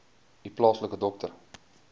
u plaaslike dokter